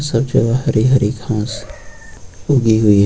सब जगह हरी हरी घास उगी हुई है।